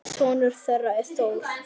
Sonur þeirra er Þór.